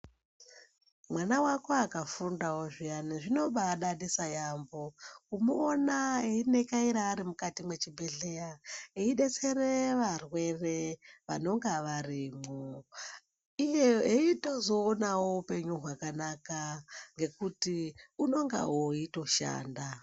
Mwana wako akafundawo zviyani zvinobadadisa yaamho kumuona einekaira ari mukati mwechibhedhlera eidetsere varwere vanonga varimwo iye eitozoonawo upenyu hwakanaka ngekuti unongawo eitoshanda.